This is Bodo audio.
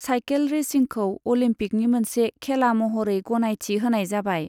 साइखेल रेसिंखौ अलिम्पिकनि मोनसे खेला महरै गनायथि होनाय जाबाय।